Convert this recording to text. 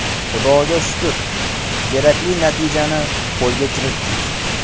Xudoga shukr, kerakli natijani qo‘lga kiritdik.